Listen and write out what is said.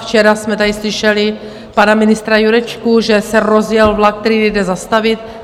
Včera jsme tady slyšeli pana ministra Jurečku, že se rozjel vlak, který nejde zastavit.